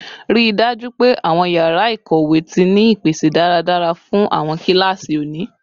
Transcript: Rii daju pe awọn yara ikowe ti ni ipese daradara fun awọn kilasi oni